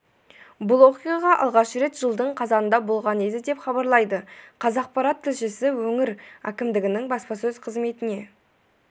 бұл оқиға алғаш рет жылдың қазанында болған еді деп хабарлайды қазақпарат тілшісі өңір әкімдігінің баспасөз қызметіне